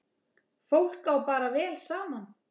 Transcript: Fólk á bara vel saman.